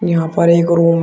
यहां पर एक रूम है।